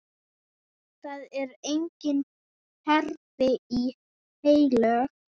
Það eru engin kerfi heilög.